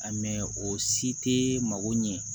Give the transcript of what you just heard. mɛ o si tɛ mako ɲɛ